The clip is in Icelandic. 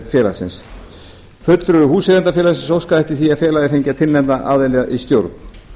félagsins fulltrúi húseigendafélagsins óskaði eftir því að félagið fengi að tilnefna aðila í stjórn